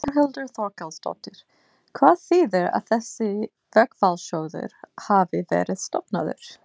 Þórhildur Þorkelsdóttir: Hvað þýðir að þessi verkfallssjóður hafi verið stofnaður?